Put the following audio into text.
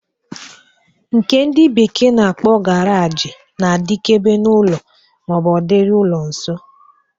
Nke ndị bekee na-akpọ garaji na-adikebe n'ụlọ ma ọ bụ ọ dịrị ụlọ nso.